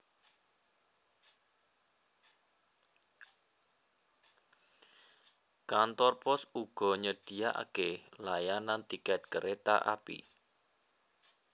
Kantor pos uga nyediakaké layanan tiket kereta api